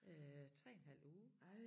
Øh 3 en halv uge